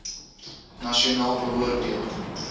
nasionaal beoor deel